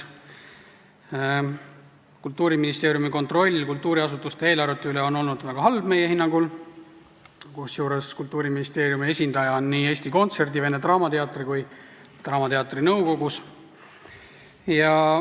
Kultuuriministeeriumi kontroll kultuuriasutuste eelarvete üle on olnud meie hinnangul väga halb, kusjuures Kultuuriministeeriumi esindaja on Eesti Kontserdi, Vene Teatri ja ka Eesti Draamateatri nõukogus.